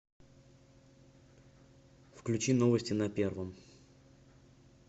включи новости на первом